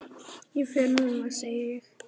Ég fer núna, segi ég.